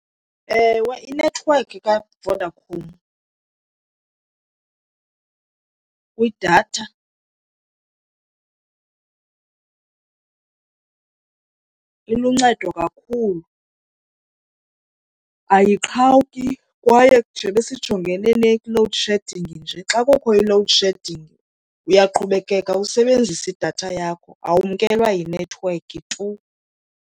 Ewe, inethiwekhi kaVodacom kwidatha iluncedo kakhulu. Ayiqhawuki kwaye njeba sijongene ne-load shedding nje xa kukho i-load shedding uyaqhubekeka usebenzise idatha yakho awumkelwa yinethiwekhi tu.